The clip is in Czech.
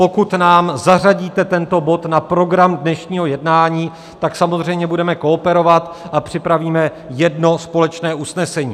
Pokud nám zařadíte tento bod na program dnešního jednání, tak samozřejmě budeme kooperovat a připravíme jedno společné usnesení.